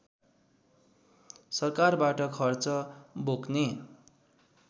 सरकारबाट खर्च बोक्ने